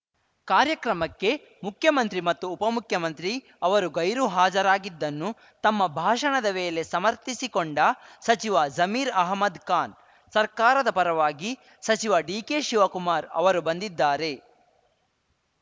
ಕಾರ್ಯಕ್ರಮಕ್ಕೆ ಮುಖ್ಯಮಂತ್ರಿ ಮತ್ತು ಉಪಮುಖ್ಯಮಂತ್ರಿ ಅವರು ಗೈರು ಹಾಜರಾಗಿದ್ದನ್ನು ತಮ್ಮ ಭಾಷಣದ ವೇಳೆ ಸಮರ್ಥಿಸಿಕೊಂಡ ಸಚಿವ ಜಮೀರ್‌ ಅಹಮದ್‌ ಖಾನ್‌ ಸರ್ಕಾರದ ಪರವಾಗಿ ಸಚಿವ ಡಿಕೆಶಿವಕುಮಾರ್‌ ಅವರು ಬಂದಿದ್ದಾರೆ